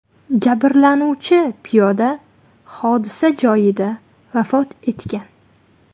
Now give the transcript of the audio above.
Jabrlanuvchi piyoda hodisa joyida vafot etgan.